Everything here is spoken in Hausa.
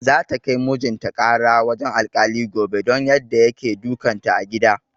Za ta kai mijin ta ƙara wajen alkali gobe don yadda yake dukan ta a gida